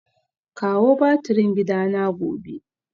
Kawo batirin gidana gobe